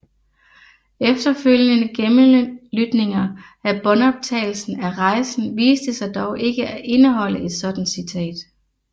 Efterfølgende gennemlytninger af båndoptagelsen af rejsen viste sig dog ikke at indeholde et sådant citat